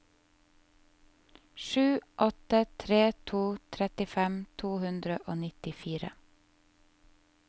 sju åtte tre to trettifem to hundre og nittifire